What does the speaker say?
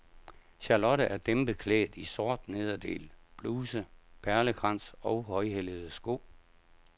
Charlotte er dæmpet klædt i sort nederdel, bluse, perlekrans og højhælede sko.